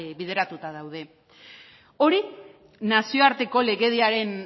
bideratuta daude hori nazioarteko legediaren